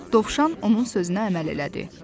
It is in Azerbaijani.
Dovşan onun sözünə əməl elədi.